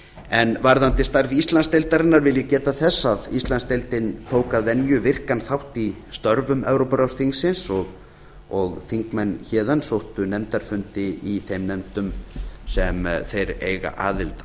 en varðandi starf íslandsdeildarinnar vil ég geta þess að íslandsdeildin tók að venju virkan þátt í störfum evrópuráðsþingsins og þingmenn héðan sóttu nefndarfundi í þeim nefndum sem þeir eiga aðild